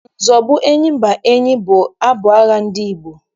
Nzọgbu enyimba enyi bụ abụ agha ndị Igbo.